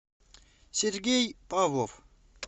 сергей павлов